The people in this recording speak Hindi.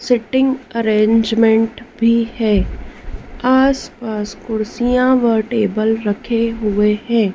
सिटिंग अरेंजमेंट भी है आसपास कुर्सियां व टेबल रखे हुए हैं।